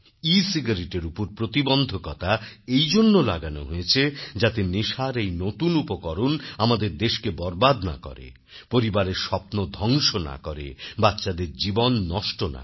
ecigaretteর উপর প্রতিবন্ধকতা এই জন্য লাগান হয়েছে যাতে নেশার এই নতুন উপকরণ আমাদের দেশকে বরবাদ না করে পরিবারের স্বপ্ন ধ্বংস না করে বাচ্চাদের জীবন নষ্ট না করে